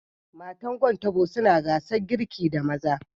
Matan Gwan Tabo suna gasar girki da maza